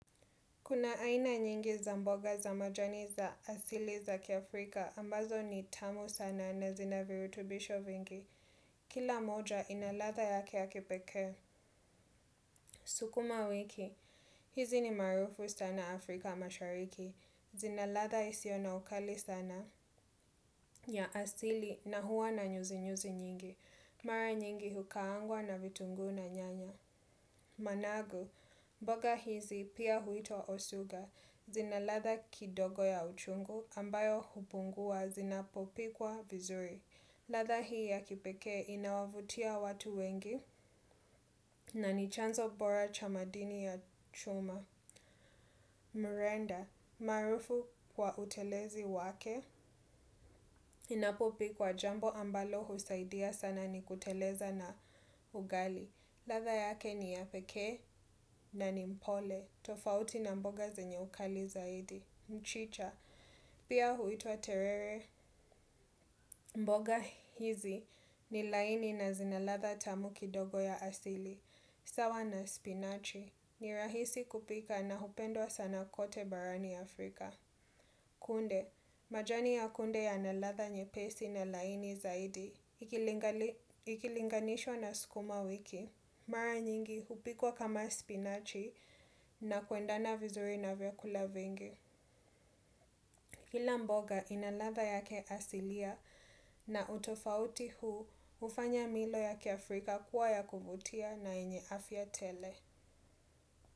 Kuna aina nyingi za mboga za majani za asili za kiAfrika ambazo ni tamu sana na zina virutubisho vingi. Kila moja ina ladha yake ya kipekee. Sukumawiki hizi ni maarufu sana afrika mashariki. Zina ladha isiyo na ukali sana ya asili na huwa na nyuzi nyuzi nyingi. Mara nyingi hukaangwa na vitunguu na nyanya. Managu, mboga hizi pia huitwa osuga zina ladha kidogo ya uchungu ambayo hupungua zinapopikwa vizuri. Ladha hii ya kipekee inawavutia watu wengi na ni chanzo bora cha madini ya chuma. Mrenda maarufu kwa utelezi wake unapopikwa jambo ambalo husaidia sana ni kuteleza na ugali. Ladha yake ni ya pekee na ni mpole. Tofauti na mboga zenye ukali zaidi mchicha, pia huitwa terere. Mboga hizi ni laini na zina ladha tamu kidogo ya asili. Sawa na spinachi ni rahisi kupika na hupendwa sana kote barani Afrika. Kunde, majani ya kunde yana ladha nyepesi na laini zaidi. Ikilinganishwa na skuma wiki mara nyingi hupikwa kama spinachi na kuendana vizuri na vyakula vingi kila mboga ina ladha yake asilia na utofauti huu hufanya mila yake Afrika Kuwa ya kuvutia na yenye afya tele.